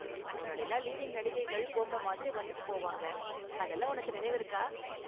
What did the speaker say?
முன்னாடிலாம் லீடிங் நடிகைகள் பொம்மை மாதிரி வந்துட்டு போவாங்க, அதெல்லாம் உனக்கு நினைவிருக்கா?